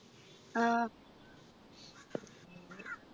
ആഹ്